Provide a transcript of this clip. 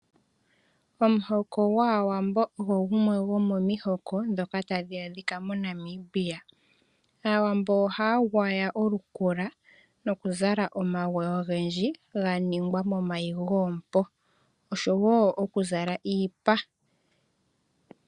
Omuhoko gwawambo ogo gumwe gomomihoko dhonka tadhi adhika moNamibia. Aawambo ohaya gwaya olukula nokuzala omagwe ogendji ga ningwa momayi goompo, osho wo okuzala iipa.